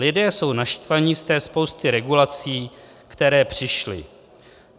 Lidé jsou naštvaní z té spousty regulací, které přišly.